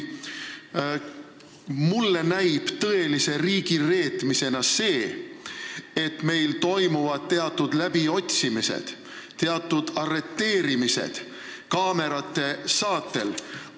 Mulle näib tõelise riigireetmisena see, et meil toimuvad teatud läbiotsimised ja arreteerimised kaamerate saatel.